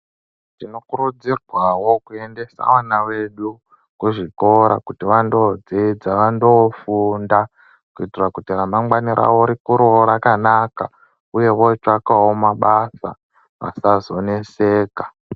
Tinokurudzirwao kuendasa vana vedu kuzvikora kuti vandodzidza vandoofunda kuitira kuti ramangwani rikureo rakanaka uyewo votsvakao mabasa vazazoneseka.